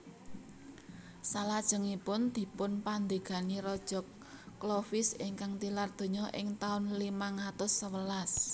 Salajengipun dipunpandhégani Raja Clovis ingkang tilar donya ing taun limang atus sewelas